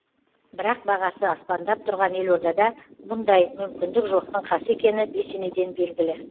бірақ бағасы аспандап тұрған елордада бұндай мүмкіндік жоқтың қасы екені бесенеден белгілі